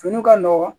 Fini ka nɔgɔn